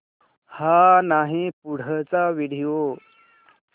हा नाही पुढचा व्हिडिओ